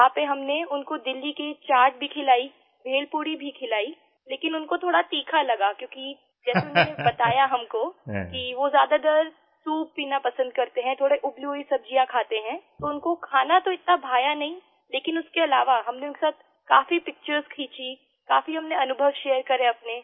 वहां पर हमने उनको दिल्ली की चाट भी खिलायी भेलपूरी भी खिलाईलेकिन उनको थोड़ा तीखा लगा क्योंकि जैसा उन्होंने बताया हमको कि वो ज्यादातर सूप पीना पसंद करते हैं थोड़ी उबली हुई सब्जियां खाते हैं तो उनको खाना तो इतना भाया नहीं लेकिन उसके अलावा हमने उनके साथ काफी picturesखींची काफी हमने अनुभव शेयर करे अपने